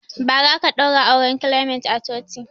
Bara aka ɗaura auren clement a coci